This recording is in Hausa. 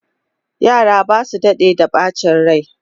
Yara ba su daɗe da ɓacin rai.